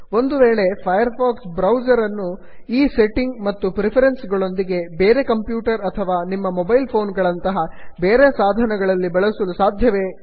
ಒಂದು ವೇಳೆ Firefox browser ಅನ್ನು ಈ ಸೆಟ್ಟಿಂಗ್ ಮತ್ತು ಪ್ರಿಫರೆನ್ಸ್ ಗಳೊಂದಿಗೆ ಬೇರೆ ಕಂಪ್ಯೂಟರ್ ಅಥವಾ ನಿಮ್ಮ ಮೊಬೈಲ್ ಫೋನ್ ಗಳಂತಹ ಬೇರೆ ಸಾಧನಗಳಲ್ಲಿ ಬಳಸಲು ಸಾಧ್ಯವೇ